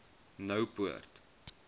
noupoort